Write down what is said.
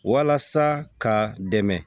Walasa ka dɛmɛ